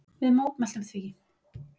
Við mótmæltum því.